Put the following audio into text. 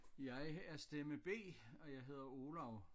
Jeg er stemme B og jeg hedder Olav